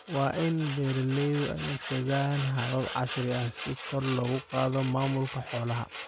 Waa in beeralaydu adeegsadaan habab casri ah si kor loogu qaado maamulka xoolaha.